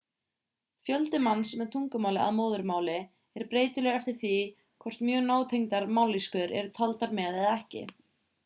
fjöldi manns með tungumálið að móðurmáli er breytilegur eftir því hvort mjög nátengdar mállýskur eru taldar með eða ekki